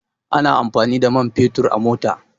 Ana amfani da man fetur a mota